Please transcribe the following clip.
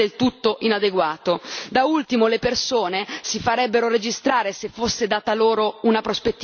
Da ultimo, le persone si farebbero registrare se fosse data loro una prospettiva chiara sul loro futuro.